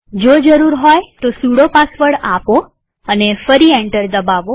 જો જરૂર હોય તો સુડો પાસવર્ડ આપો અને ફરી એન્ટર દબાવો